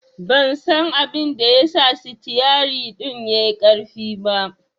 Ban san abinda ya sa sitiyerin ɗin yai ƙarfi ba